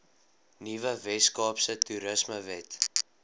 nuwe weskaapse toerismewet